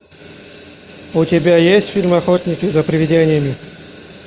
у тебя есть фильм охотники за привидениями